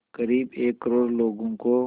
क़रीब एक करोड़ लोगों को